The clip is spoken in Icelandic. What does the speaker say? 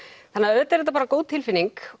auðvitað er þetta bara góð tilfinning